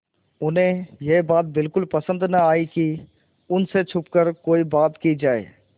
उन्हें यह बात बिल्कुल पसन्द न आई कि उन से छुपकर कोई बात की जाए